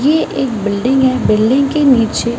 ये एक बिल्डिंग है बिल्डिंग के नीचे--